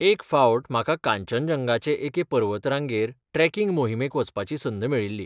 एक फावट म्हाका कांचनजंगाचे एके पर्वतरांगेर ट्रेकिंग मोहिमेक वचपाची संद मेळ्ळिली, .